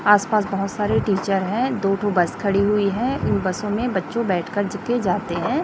आस पास बहुत सारे टीचर है दो ठो बस खड़ी हुई है इन बसों में बच्चों बैठ कर के जाते है।